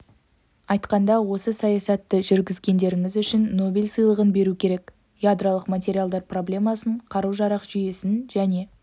айтқанда осы саясатты жүргізгендеріңіз үшін нобель сыйлығын беру керек ядролық материалдар проблемасын қару-жарақ жүйесін және